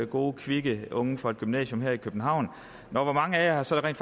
gode kvikke unge fra et gymnasium her i københavn nå hvor mange af jer har så rent